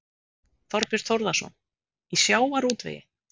Þorbjörn Þórðarson: Í sjávarútvegi?